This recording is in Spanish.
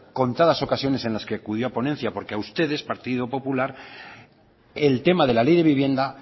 contadas ocasiones en la que acudió a ponencia porque a ustedes partido popular el tema de la ley de vivienda